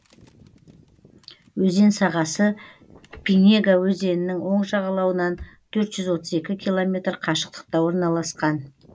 өзен сағасы пинега өзенінің оң жағалауынан төрт жүз отыз екі километр қашықтықта орналасқан